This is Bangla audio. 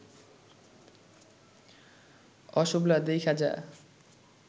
অ সুবলা দেইখ্যা যা